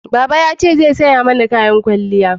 Baba ya ce zai saya mana kayan kwalliya